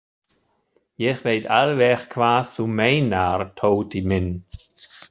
Ég veit alveg hvað þú meinar, Tóti minn.